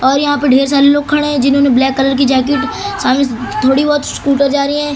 और यहां पे ढेर सारे लोग खड़े हैं जिन्होंने ब्लैक कलर की जैकेट साम थोड़ी बहोत स्कूटर जा रही है।